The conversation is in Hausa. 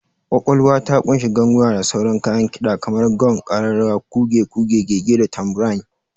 Ƙwaƙwalwa ta ƙunshi ganguna da sauran kayan kida kamar gong, ƙararrawa, kuge, kuge-gege, da tambourine.